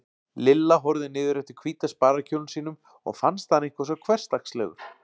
Lilla horfði niður eftir hvíta sparikjólnum sínum og fannst hann eitthvað svo hversdagslegur.